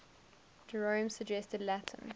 jerome's suggested latin